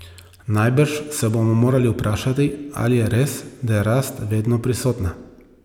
Najbrž se bomo morali vprašati, ali je res, da je rast vedno prisotna.